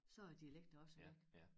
Så er æ dialekter også væk